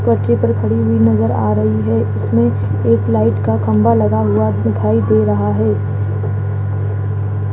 पटरी पर खड़ी हुई नज़र आ रही है इसमें एक लाइट का खंभा लगा हुआ दिखाई दे रहा है।